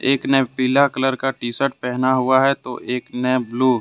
एक ने पीला कलर टी शर्ट पहना हुआ है तो एक ने ब्लू ।